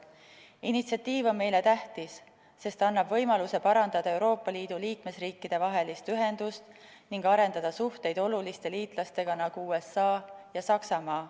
Initsiatiiv on meile tähtis, sest ta annab võimaluse parandada Euroopa Liidu liikmesriikide vahelist ühendust ning arendada suhteid oluliste liitlastega, nagu USA ja Saksamaa.